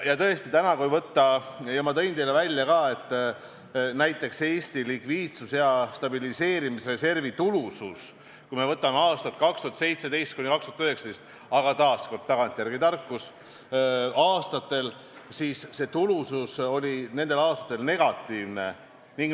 Tõesti, ma tõin esile ka selle, et kui me võtame aastad 2017–2019 – aga taas, seegi on tagantjärele tarkus –, siis olid näiteks Eesti likviidsus ja stabiliseerimisreservi tulusus negatiivne.